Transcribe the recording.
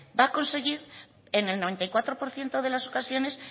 va a conseguir en el noventa y cuatro por ciento de las ocasiones